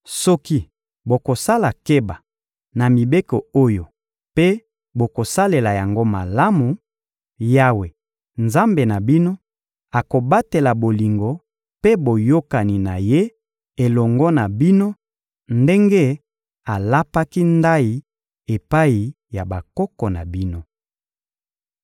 Soki bokosala keba na mibeko oyo mpe bokosalela yango malamu, Yawe, Nzambe na bino, akobatela bolingo mpe boyokani na Ye elongo na bino ndenge alapaki ndayi epai ya bakoko na bino.